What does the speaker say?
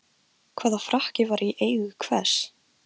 Hugsanir mínar lágu nefnilega langt frá allri menntun.